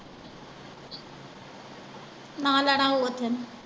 ਨਾ ਲੈਣਾ ਹੋਊ ਓਥੇ।